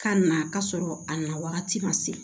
K'a na ka sɔrɔ a na wagati ma se